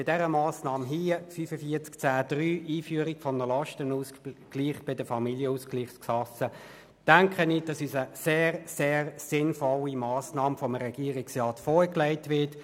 Aber zu dieser Massnahme 45.10.3, Einführung Lastenausgleich zwischen Familienausgleichskassen, denke ich, dass seitens des Regierungsrats eine sehr, sehr sinnvolle Massnahme vorgelegt wird.